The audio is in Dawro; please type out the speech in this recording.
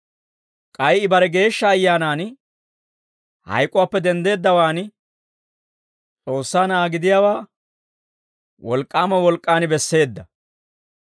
K'ay I bare Geeshsha Ayyaanaan hayk'uwaappe denddeeddawaan, S'oossaa Na'aa gidiyaawaa wolk'k'aama wolk'k'aan besseedda.